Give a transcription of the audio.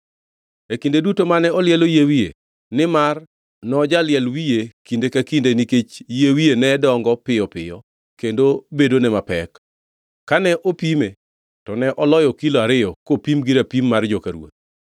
E kinde duto mane olielo yie wiye, nimar nojaliel wiye kinde ka kinde nikech yie wiye ne dongo piyo kendo bedone mapek, kane opime to ne oloyo kilo ariyo kopim gi rapim mar joka ruoth.